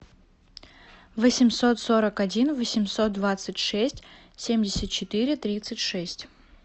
восемьсот сорок один восемьсот двадцать шесть семьдесят четыре тридцать шесть